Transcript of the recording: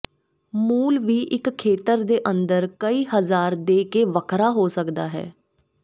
ਮੁੱਲ ਵੀ ਇੱਕ ਖੇਤਰ ਦੇ ਅੰਦਰ ਕਈ ਹਜ਼ਾਰ ਦੇ ਕੇ ਵੱਖਰਾ ਹੋ ਸਕਦਾ ਹੈ